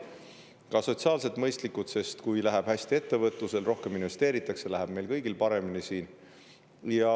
Need on ka sotsiaalselt mõistlikud, sest kui läheb hästi ettevõtlusel ja siia rohkem investeeritakse, siis läheb paremini meil kõigil siin.